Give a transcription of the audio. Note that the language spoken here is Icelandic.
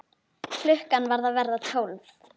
Klukkan var að verða tólf.